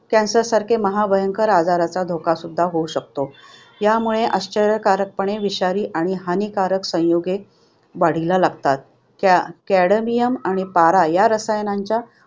Cancer सारख्या महाभयंकर आजाराचा धोका सुद्धा होऊ शकतो. त्यामुळे आश्चर्यकारकपणे विषारी आणि हानिकारक संयुगे वाढीला लागतात. Cadmium आणि पारा या रसायनांच्या